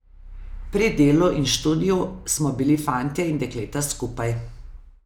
Pri delu in študiju smo bili fantje in dekleta skupaj.